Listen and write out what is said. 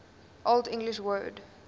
old english word